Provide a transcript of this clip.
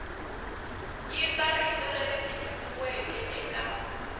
yisa rito leri tikisiweke eka